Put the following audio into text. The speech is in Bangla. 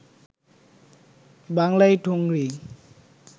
বাংলায় ঠুংরি